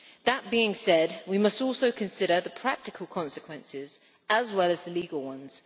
That being said, we must also consider the practical consequences as well as the legal ones.